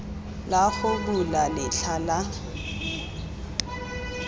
la go bula letlha la